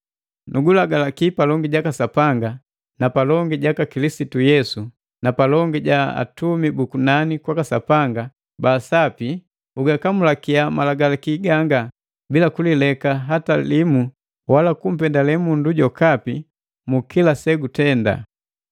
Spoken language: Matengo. Nugulagalaki palongi jaka Sapanga, na palongi jaka Kilisitu Yesu na palongi ja atumi buku nani kwaka Sapanga ba Sapi, ugakamulakia malagalaki ganga bila kulileka hatalimu, wala kumpendale mundu jokapi mu kila segutenda.